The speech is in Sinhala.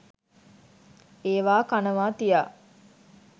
ඒවා කනවා තියා